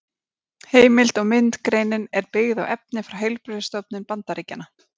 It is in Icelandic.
Heimild og mynd Greinin er byggð á efni frá heilbrigðisstofnun Bandaríkjanna.